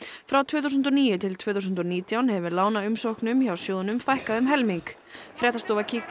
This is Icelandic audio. frá tvö þúsund og níu til tvö þúsund og nítján hefur hjá sjóðnum fækkað um helming fréttastofa kíkti